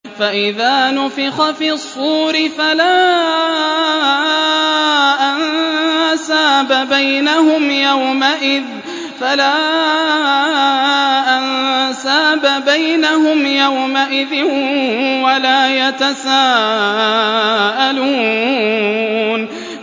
فَإِذَا نُفِخَ فِي الصُّورِ فَلَا أَنسَابَ بَيْنَهُمْ يَوْمَئِذٍ وَلَا يَتَسَاءَلُونَ